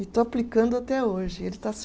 E estou aplicando até hoje. Ele está se